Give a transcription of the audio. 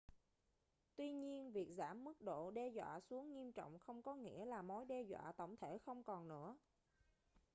tuy nhiên việc giảm mức độ đe dọa xuống nghiêm trọng không có nghĩa là mối đe dọa tổng thể không còn nữa